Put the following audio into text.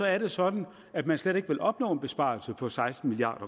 er det sådan at man slet ikke vil opnå en besparelse på seksten milliard